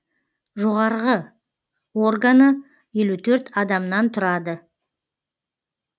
жоғарғы органы елу төрт адамнан тұрады